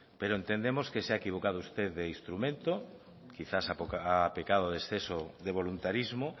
pero entendemos que se ha equivocado usted de instrumento quizás ha pecado de exceso de voluntarismo